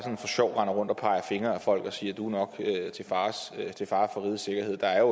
sjov render rundt og peger fingre ad folk og siger du er nok til fare for rigets sikkerhed der er